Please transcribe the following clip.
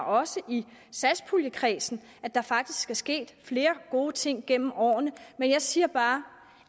også i satspuljekredsen at der faktisk er sket flere gode ting gennem årene men jeg siger bare